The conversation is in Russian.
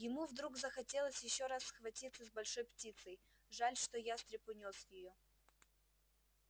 ему вдруг захотелось ещё раз схватиться с большой птицей жаль что ястреб унёс её